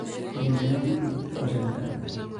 Kirinde ngo'tutik ochon gaa?